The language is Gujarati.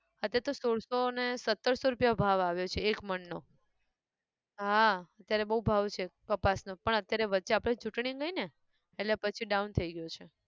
અત્યાર તો સોળસો ને સત્તરસો રૂપિયા ભાવ આવ્યો છે એક મણ નો, હા અત્યારે બઉ ભાવ છે કપાસ નો પણ અત્યારે વચ્ચે આપણે ચૂંટણી ગઈ ને, એટલે પછી down થઇ ગયું છે